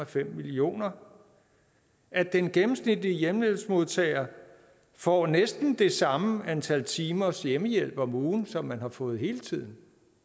fem millioner og at den gennemsnitlige hjemmehjælpsmodtager får næsten det samme antal timers hjemmehjælp om ugen som man har fået hele tiden